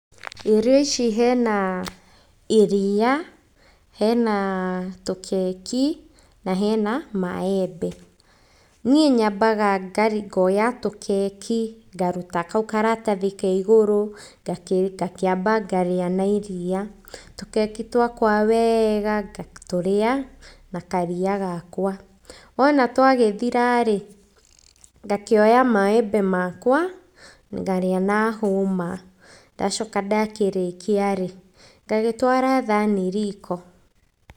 Irio ici hena iria, hena tũkeki na hena maembe. Niĩ nyambaga ngoya tũkeki, ngaruta kau karatathi ka igũrũ ngakĩamba ngarĩa na iriia, tũkeki twakwa wega, ngatũrĩa na karia gakwa. Wona twagĩthira rĩ, ngakĩoya maembe makwa ngarĩa na hũma. Ndacoka ndakĩrĩkia rĩ, ngagĩtwara thani riko.